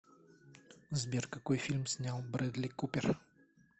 сбер какой фильм снял брэдли купер